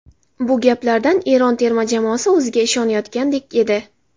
Bu gaplardan Eron terma jamoasi o‘ziga ishonayotgandek edi.